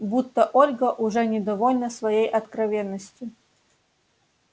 будто ольга уже недовольна своей откровенностью